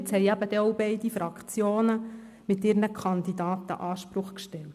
Jetzt haben die beiden Fraktionen mit ihren Kandidaten einen Anspruch angemeldet.